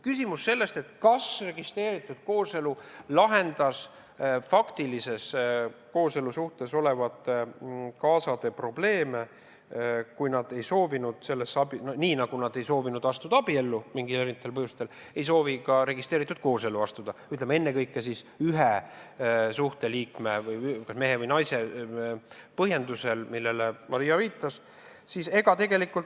Kas registreeritud kooselu lahendab faktilises kooselusuhtes olevate kaasade probleeme, kui nad ei soovi – nii nagu nad erinevatel põhjustel ei soovinud astuda abiellu – ka registreeritud koosellu astuda, ütleme, ennekõike ühe suhte liikme, mehe või naise tõttu, millele Maria viitas?